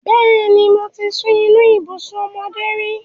Bẹ́ẹ̀ni, mo ti sun inú ibùsùn ọmọdé rí.